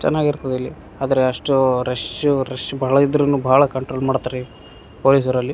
ಚೆನ್ನಾಗಿರ್ತದೆ ಇಲ್ಲಿ ಆದ್ರೆ ಅಷ್ಟು ರಶೂ ರಶ್ಶ ಬಹಳ ಇದ್ರೂನು ಬಹಳ ಕಂಟ್ರೋಲ್ ಮಾಡ್ತಾರೆ ಪೊಲೀಸರಲ್ಲಿ --